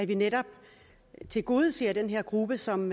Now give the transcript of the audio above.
vi netop tilgodeser den her gruppe som